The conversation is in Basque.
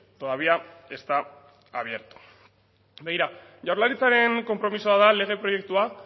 todavía está abierto begira jaurlaritzaren konpromisoa da lege proiektua